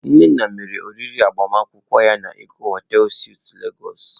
Nnanna mere oriri agbamakwụkwọ ya na Eko hotei suitụ Lagos.